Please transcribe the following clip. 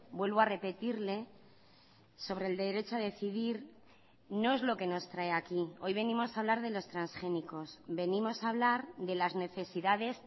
vuelvo a repetirle sobre el derecho a decidir no es lo que nos trae aquí hoy venimos a hablar de los transgénicos venimos a hablar de las necesidades